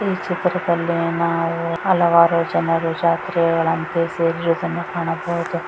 ಈ ಚಿತ್ರದಲ್ಲಿ ನಾವು ಹಲವಾರು ಜನರು ಜಾತ್ರೆಗಳಂತೆ ಸೇರಿರುವುದನ್ನು ಕಾಣಬಹುದು.